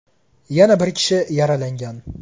Yana bir kishi yaralangan.